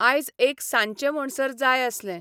आयज एक सांजचें म्हणसर जाय आसलें